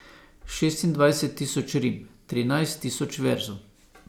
Šestindvajset tisoč rim, trinajst tisoč verzov.